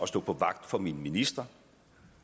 stå vagt om mine ministre og